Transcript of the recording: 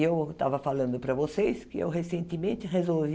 E eu estava falando para vocês que eu recentemente resolvi